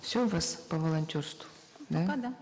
все у вас по волонтерству да пока да